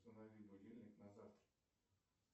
установи будильник на завтра